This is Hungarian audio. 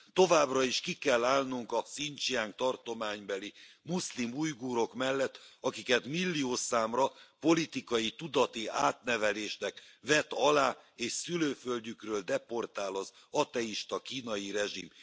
Továbbra is ki kell állnunk a Hszincsiang tartománybeli muszlim ujgurok mellett, akiket milliószámra politikai tudati átnevelésnek vet alá és szülőföldjükről deportál az ateista kínai rezsim.